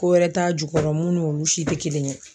Ko wɛrɛ t'a jukɔrɔ mun n'olu si te kelen ye